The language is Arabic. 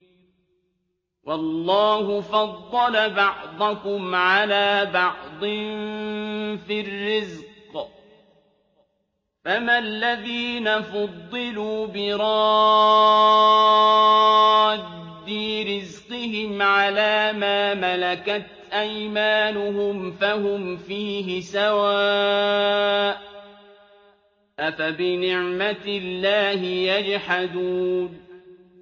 وَاللَّهُ فَضَّلَ بَعْضَكُمْ عَلَىٰ بَعْضٍ فِي الرِّزْقِ ۚ فَمَا الَّذِينَ فُضِّلُوا بِرَادِّي رِزْقِهِمْ عَلَىٰ مَا مَلَكَتْ أَيْمَانُهُمْ فَهُمْ فِيهِ سَوَاءٌ ۚ أَفَبِنِعْمَةِ اللَّهِ يَجْحَدُونَ